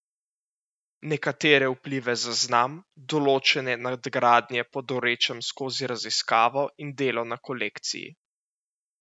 Nekatere vplive zaznam, določene nadgradnje pa dorečem skozi raziskavo in delo na kolekciji.